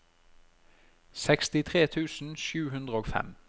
sekstitre tusen sju hundre og fem